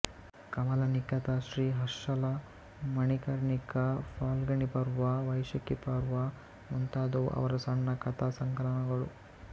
ಕಮಲಾನಿಕಥಾ ಶ್ರೀ ಹರ್ಷಲಾ ಮಣಿಕರ್ಣಿಕಾ ಫಾಲ್ಗಣೀ ಪರ್ವ ವೈಶಾಕೀ ಪರ್ವ ಮುಂತಾದವು ಅವರ ಸಣ್ಣ ಕಥಾಸಂಕಲನಗಳು